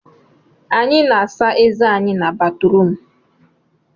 Anyị na-asa ezé anyị n'batrum